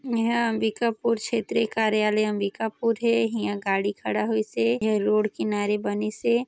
--में हाँ अंबिकापुर चैत्र कार्यालय अंबिकापुर हे इंहा गाड़ी खड़ा होइस हे। ए ह रोड किनारे बनीस ए।